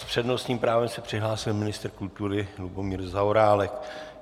S přednostním právem se přihlásil ministr kultury Lubomír Zaorálek.